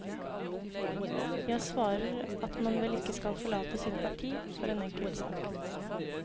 Jeg svarer at man vel ikke skal forlate sitt parti for en enkelt sak.